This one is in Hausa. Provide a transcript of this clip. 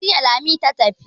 Zariya Lami ta tafi.